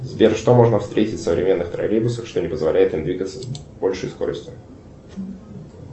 сбер что можно встретить в современных троллейбусах что не позволяет им двигаться с большей скоростью